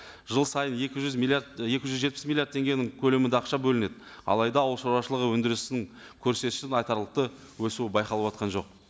жыл сайын екі жүз миллиард екі жүз жетпіс миллиард теңгенің көлемінде ақша бөлінеді алайда ауыл шаруашылығы өндірісінің көрсеткішінің айтарлықты өсуі байқалып отырған жоқ